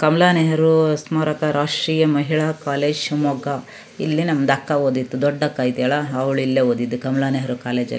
ಕಮ್ಮಲಾನೆಹರೂ ಸ್ಮಾರಕ ರಾಷ್ಟ್ರೀಯ ಮಹಿಳಾ ಕಾಲೇಜ್ ಶಿಮೊಗ್ಗಾ ಇಲ್ಲಿ ನಮ್ಮದು ಅಕ್ಕ ಓದಿದ್ದು ದೊಡ್ಡ ಅಕ್ಕ ಇದೆಯಲ್ಲಾ ಅವ್ಳು ಇಲ್ಲೆ ಓದಿದ್ದು.